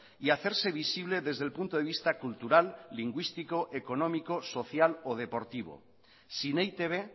y hacerse visible desde el punto de vista cultural lingüístico económico social o deportivo sin e i te be